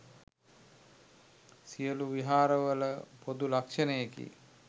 සියලු විහාරවල පොදු ලක්ෂණයකි.